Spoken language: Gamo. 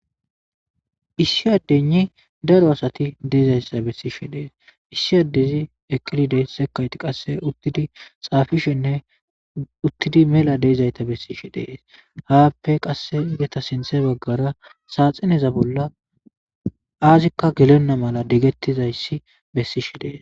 Issi adayinne daro asati dizayissa besishshe de'es .issi adezi eqidi dees sekayitti qaase uttidi xaafishshe nne uttidi mela dizayita besishshe de'es.haape qase izetassi sinththe bagara saxinezza bolla azikka gelena mala digetizayiss besishshe de'es.